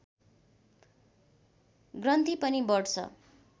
ग्रन्थि पनि बढ्छ